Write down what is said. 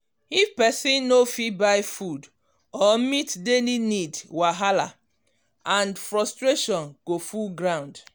if pesin no fit buy food or meet daily need wahala and frustration go full ground.